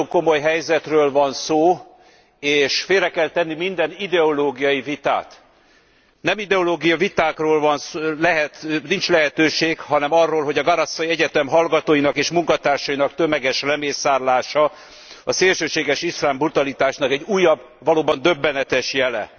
Itt egy nagyon komoly helyzetről van szó és félre kell tenni minden ideológiai vitát. Nem ideológiai vitákról nincs lehetőség, hanem arról, hogy a Garissa Egyetem hallgatóinak és munkatársainak tömeges lemészárlása a szélsőséges iszlám brutalitásnak egy újabb, valóban döbbenetes jele.